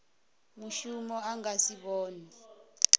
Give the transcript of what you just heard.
mushumi a nga si vhonwe